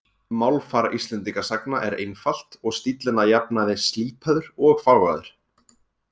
Málfar Íslendingasagna er einfalt og stíllinn að jafnaði slípaður og fágaður.